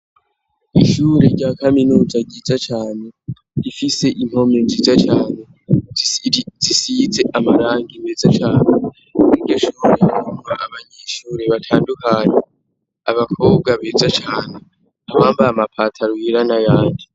Ishure rya kaminuza ryiza cane rifise impome nziza cane zisize amarangi meza cane, kw'iryo shure higa abanyishure batandukane, abakobwa beza cane abambaye amapataro yera n'ayandi.